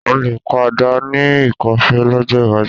O lè padà ní ikọ́ọfe lọ́jọ́ iwájú